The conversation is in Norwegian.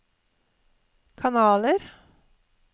kanaler